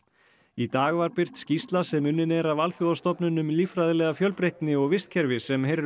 í dag var birt skýrsla sem unnin er af alþjóðastofnun um líffræðilega fjölbreytni og vistkerfi sem heyrir